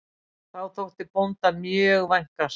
Þá þótti bónda mjög vænkast